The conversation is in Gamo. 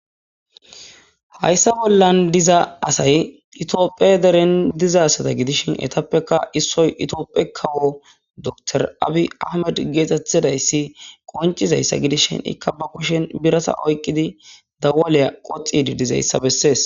hayssa bollan diza asay itiophe deren dizasata gidishin etappekka issoy itioophe kawo dotor abi ahmed geetettidayssi qoncizayssa gidishin ikka ba kushen birasa oyqqidi dawaaleya qoxi didizayssa bessees